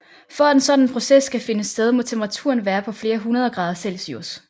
For at en sådan proces skal finde sted må temperaturen være på flere hundreder grader celsius